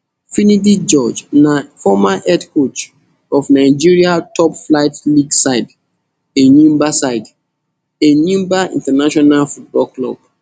finidi george na former head coach of nigeria toplflight league side enyimba side enyimba international football club